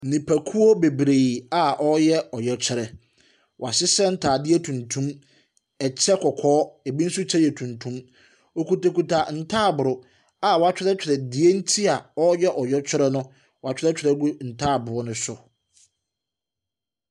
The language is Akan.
Nipakuo bebree a ɔreyɛ ɔyɛkyerɛ. W'ahyehyɛ ntaadeɛ tuntum, ɛkyɛ kɔkɔɔ, ebi nso kyɛ yɛ tuntum. Ɔkutakuta ntabro a w'akyerɛkyerɛ die nti a ɔreyɛ ɔyɛkyerɛ no w'akyerɛkyerɛ gu ntaboo no so.